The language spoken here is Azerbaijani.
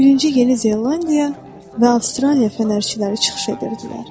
Birinci Yeni Zelandiya və Avstraliya fənərçiləri çıxış edirdilər.